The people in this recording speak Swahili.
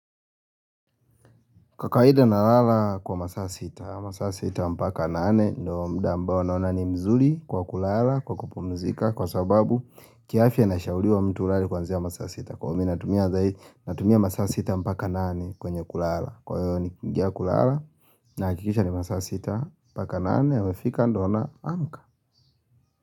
Kwa kawaida nalala kwa masaa sita, masaa sita mpaka nane, ndio muda ambao naona ni mzuri kwa kulala, kwa kupumzika, kwa sababu kiafya nashauriwa mtu ulale kwanzia masaa sita kwa natumia natumia masaa sita mpaka nane kwenye kulala, kwa hiyo nikiiingia kulala nahakikisha ni masaa sita mpaka nane, yamefika ndio naamka.